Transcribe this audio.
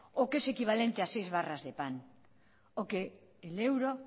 o que es equivalente a seis barras de pan o que el euro